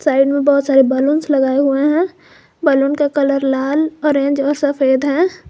Side में बहोत सारे बैलून लगाए हुए हैं बैलून का कलर लाल ऑरेंज और सफेद है।